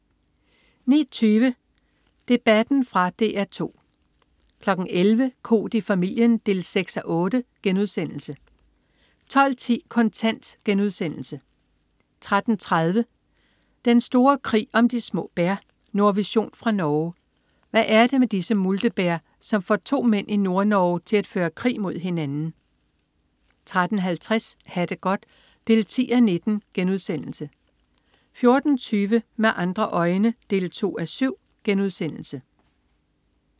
09.20 Debatten. Fra DR 2 11.00 Koht i familien 6:8* 12.10 Kontant* 13.30 Den store krig om de små bær. Nordvision fra Norge. Hvad er det med disse multebær, som får to mænd i Nordnorge til at føre krig mod hinanden? 13.50 Ha' det godt 10:19* 14.20 Med andre øjne 2:7*